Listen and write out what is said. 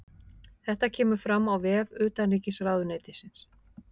Þetta kemur fram á vef utanríkisráðuneytisins